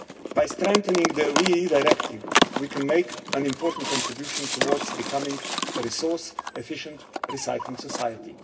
By strengthening the WEEE Directive we can make an important contribution towards becoming a resource efficient recycling society.